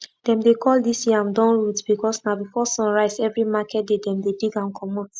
dem dey call dis yam dawn root because na before sun rise every market day dem dey dig am comot